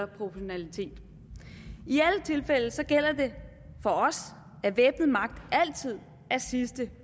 proportionalitet i alle tilfælde gælder det for os at væbnet magt altid er sidste